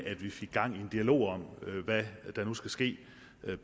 at vi fik gang i en dialog om hvad der nu skal ske